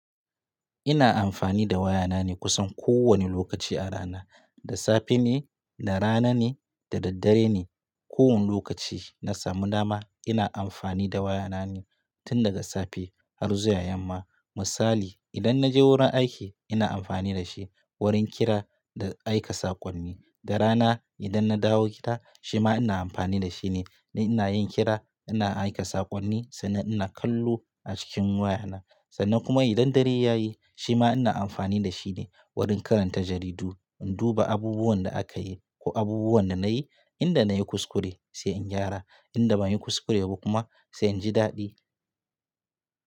Ina amfani da wayana ne kusan kowane lokaci a rana. Da safe ne, da rana ne, da daddare ne. Ko wane lokaci na samu dama ina amfani da wayana ne tun daga safe har zuwa yamma. Misali idan naje wurin aiki ina amfani da shi wurin kira da aika saƙonni. Da rana idan na dawo gida shima ina amfani da shi ne. Dan ina yin kira ina aika saƙonni sannan ina kallo a cikin wayana. Sannan kuma idan dare ya yi shima ina amfani da shi ne wurin karanta jaridu, in duba abubuwan da aka yi ko abubuwan da na yi, inda na yi kuskure sai in gyara, inda ban yi kuskure ba kuma sai in ji daɗi.